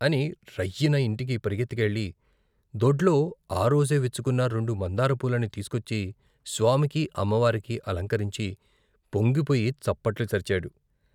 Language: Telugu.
అని రైయ్యిన ఇంటికి పరుగెత్తి కెళ్ళి దొడ్లో ఆ రోజే విచ్చుకున్న రెండు మందార పూలని తీసికొచ్చి స్వామికి, అమ్మవారికి అలంకరించి పొంగిపోయి చప్పట్లు చరిచాడు.